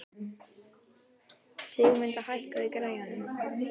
Sigurmunda, hækkaðu í græjunum.